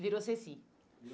Virou Ceci.